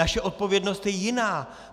Naše odpovědnost je jiná.